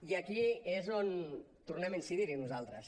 i aquí és on tornem a incidir nosaltres